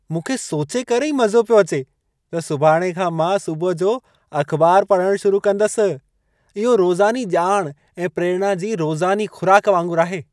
मूंखे सोचे करे ई मज़ो पियो अचे त सुभाणे खां मां सुबुह जो अख़बार पढ़ण शुरु कंदसि। इहो रोज़ानी ॼाण ऐं प्रेरणा जी रोज़ानी खु़राक वांगुर आहे।